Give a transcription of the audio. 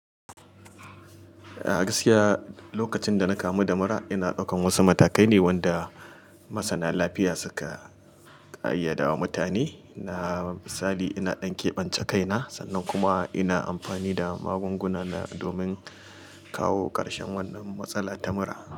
A gaskiya, lokacin da na kamu da mura, ina ɗaukan wasu matakai ne wanda masana lafiya suka ƙayyada wa mutane. Na misali, ina ɗan keɓance kaina sannan kuma ina amfani da magunguna domin kawo karshen wannan matsalar ta mura.